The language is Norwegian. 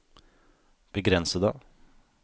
begrensede